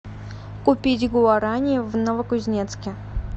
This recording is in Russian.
купить гуарани в новокузнецке